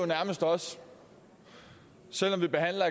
nærmest også selv om vi behandler